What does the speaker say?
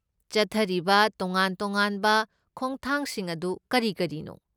ꯆꯠꯊꯔꯤꯕ ꯇꯣꯉꯥꯟ ꯇꯣꯉꯥꯟꯕ ꯈꯣꯡꯊꯥꯡꯁꯤꯡ ꯑꯗꯨ ꯀꯔꯤ ꯀꯔꯤꯅꯣ?